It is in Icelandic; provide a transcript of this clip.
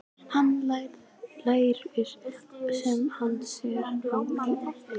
Hann lætur sem hann sjái hana ekki.